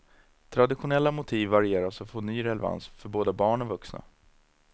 Traditionella motiv varieras och får ny relevans för både barn och vuxna.